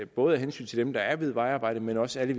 både af hensyn til dem der er ved vejarbejdet men også alle